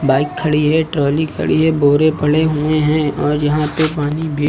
bike खड़ी है trolley खड़ी है बोरे पड़े हुए हैं और यहां पे पानी भी--